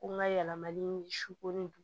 Ko n ka yɛlɛmali sukoro